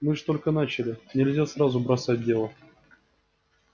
мы же только начали нельзя сразу бросать дело